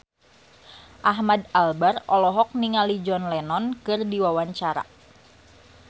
Ahmad Albar olohok ningali John Lennon keur diwawancara